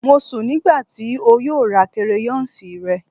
Mo sun nigba ti o yoo ra crayons rẹ